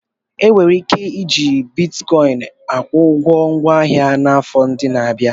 E nwere ike iji Bitkọịn akwụ ụgwọ ngwa ahịa n'afọ ndị na-abịa.